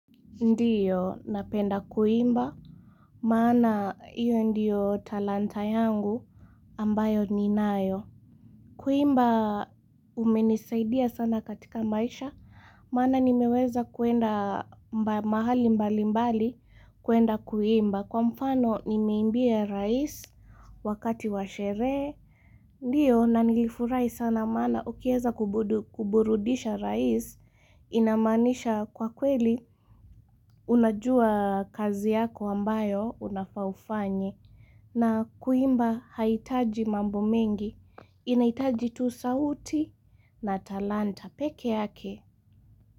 Ndiyo, napenda kuimba, maana hiyo ndiyo talanta yangu ambayo ninayo. Kuimba, umenisaidia sana katika maisha, maana nimeweza kwenda mahali mbalimbali kuenda kuimba. Kwa mfano, nimeimbia rais wakati wa sherehe. Ndiyo na nilifurahi sana maana ukiweza kuburudisha rais inamaanisha kwa kweli unajua kazi yako ambayo unafaa ufanye, na kuimba haihitaji mambo mengi, inahitaji tu sauti na talanta peke yake.